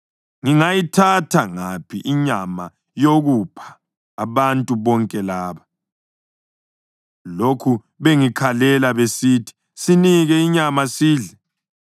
Ngingayithatha ngaphi inyama yokupha abantu bonke laba? Lokhu bengikhalela besithi, ‘Sinike inyama sidle!’